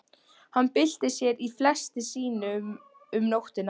Hann bylti sér í fleti sínu um nóttina.